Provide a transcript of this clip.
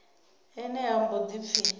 ene ha mbo ḓi pfi